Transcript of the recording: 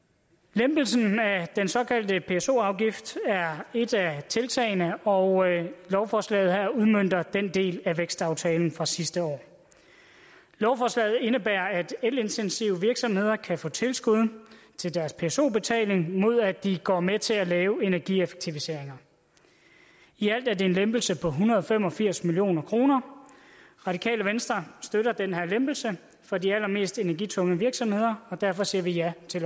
lempelsen af den såkaldte pso afgift er et af tiltagene og lovforslaget her udmønter den del af vækstaftalen fra sidste år lovforslaget indebærer at elintensive virksomheder kan få tilskud til deres pso betaling mod at de går med til at lave energieffektiviseringer i alt er det en lempelse på en hundrede og fem og firs million kroner radikale venstre støtter den her lempelse for de allermest energitunge virksomheder og derfor siger vi ja til